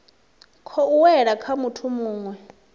khou wela kha muthu muwe